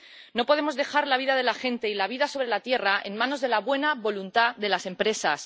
No podemos dejar la vida de la gente y la vida sobre la tierra en manos de la buena voluntad de las empresas.